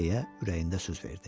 deyə ürəyində söz verdi.